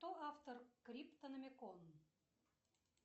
кто автор криптономикон